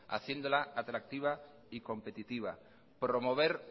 haciéndola atractiva y competitiva promover